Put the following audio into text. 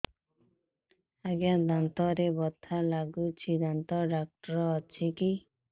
ଆଜ୍ଞା ଦାନ୍ତରେ ବଥା ଲାଗୁଚି ଦାନ୍ତ ଡାକ୍ତର ଅଛି କି